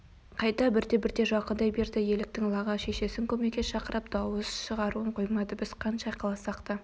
қайта бірте-бірте жақындай берді еліктің лағы шешесін көмекке шақырып дауыс шығаруын қоймады біз қанша айқайласақ та